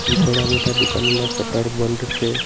ઘણા બધા દુકાનોના શટર બંધ છે.